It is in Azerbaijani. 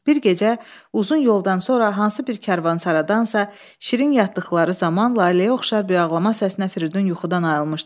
Bir gecə uzun yoldan sonra hansı bir karvansaradasa şirin yatdıqları zaman Laləyə oxşar bir ağlama səsinə Firidun yuxudan ayılmışdı.